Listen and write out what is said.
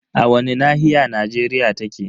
A wani nahiya Najeriya take?